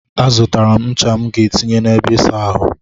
A zụtara m ncha m ga etinye na ebe ịsa ahụ.